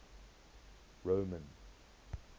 roman